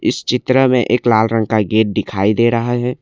इस चित्र में एक लाल रंग का गेट दिखाई दे रहा है।